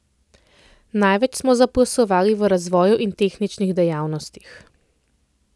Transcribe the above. Največ smo zaposlovali v razvoju in tehničnih dejavnostih.